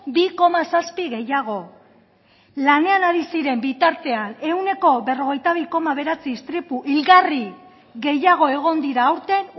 bi koma zazpi gehiago lanean ari ziren bitartean ehuneko berrogeita bi koma bederatzi istripu hilgarri gehiago egon dira aurten